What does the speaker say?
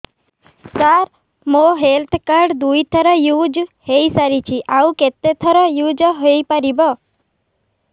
ସାର ମୋ health card ଦୁଇ ଥର ୟୁଜ଼ ହୈ ସାରିଛି ଆଉ କେତେ ଥର ୟୁଜ଼ ହୈ ପାରିବ